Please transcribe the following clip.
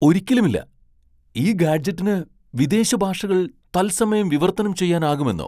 ഒരിക്കലുമില്ല ! ഈ ഗാഡ്ജെറ്റിന് വിദേശ ഭാഷകൾ തത്സമയം വിവർത്തനം ചെയ്യാനാകുമെന്നോ ?